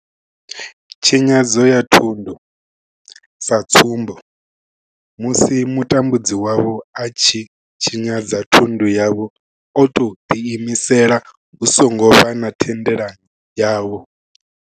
Tshinyadzo ya thundu, sa tsumbo, musi mutambudzi wavho a tshi tshinyadza thundu yavho o tou ḓiimisela hu songo vha na thendelano yavho.